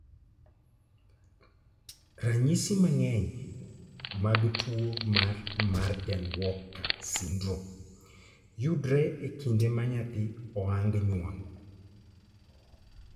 Ranyisi mang'eny mag tuo mar Marden Walker syndrome yudore e kinde ma nyathi oang nyuol.